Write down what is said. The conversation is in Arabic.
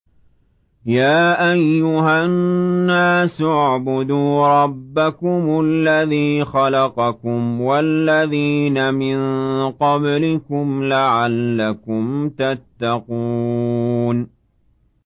يَا أَيُّهَا النَّاسُ اعْبُدُوا رَبَّكُمُ الَّذِي خَلَقَكُمْ وَالَّذِينَ مِن قَبْلِكُمْ لَعَلَّكُمْ تَتَّقُونَ